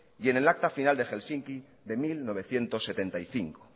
y en el acta final de helsinki de mil novecientos setenta y cinco